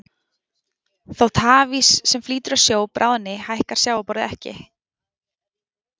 Þótt hafís sem flýtur á sjó bráðni hækkar sjávarborðið ekki.